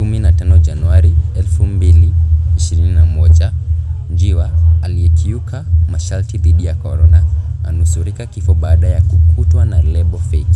15 Januari 2021 Njiwa 'aliyekiuka masharti dhidi ya corona' anusurika kifo baada ya kukutwa na lebo feki